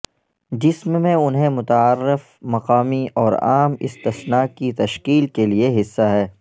جسم میں انہیں متعارف مقامی اور عام استثنی کی تشکیل کے لئے حصہ ہے